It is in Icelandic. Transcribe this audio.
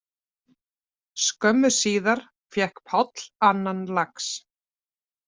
Skömmu síðar fékk Páll annan lax